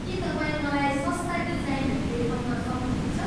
के तपाईँ मलाई सस्ता डिजाइनहरू देखाउन सक्नुहुन्छ?